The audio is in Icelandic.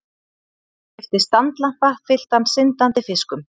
Keypti standlampa fylltan syndandi fiskum.